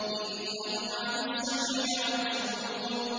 إِنَّهُمْ عَنِ السَّمْعِ لَمَعْزُولُونَ